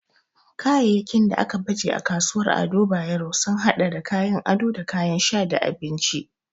Kayayyakin da aka baje a kasuwar Ado Bayero sun hada da kayan ado da kayan sha da abinci.